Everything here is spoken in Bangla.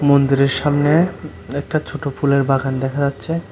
মন্দিরের সামনে একটা ছোটো ফুলের বাগান দেখা যাচ্ছে।